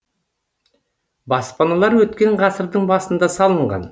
баспаналар өткен ғасырдың басында салынған